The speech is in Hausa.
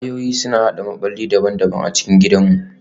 Wayoyi suna haɗa maɓalli daban-daban a cikin gidanmu